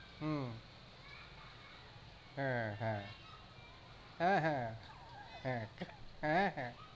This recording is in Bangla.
হম হ্যাঁ হ্যাঁ, হ্যাঁহ্যাঁ, হ্যাঁ, হ্যাঁহ্যাঁ